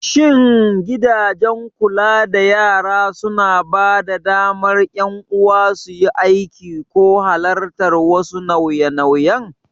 Shin gidajen kula da yara suna ba da damar ƴan uwa suyi aiki ko halartar wasu nauye-nauyen?